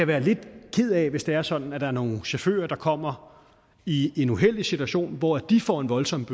være lidt ked af hvis det er sådan at der er nogle chauffører der kommer i en uheldig situation hvor de får en voldsomt